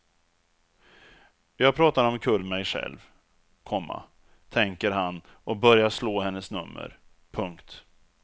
Jag pratar omkull mej själv, komma tänker han och börjar slå hennes nummer. punkt